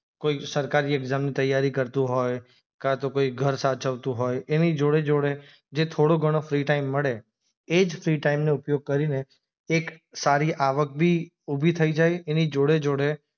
કોઈ સરકારી એક્ઝામ ની તૈયારી કરતું હોય કાં તો કોઈ ઘર સાચવતું હોય એની જોડે જોડે જે થોડો ઘણો ફ્રી ટાઇમ મળે એ જ ફ્રી ટાઇમ નો ઉપયોગ કરીને એક સારી આવક ભી ઊભી થઇ જાયે એની જોડે જોડે